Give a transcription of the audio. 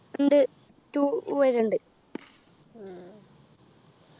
ഉണ്ട് two വരെ ഉണ്ട്